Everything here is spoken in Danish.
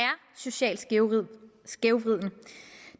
socialt skævvridende skævvridende